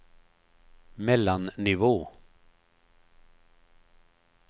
mellannivå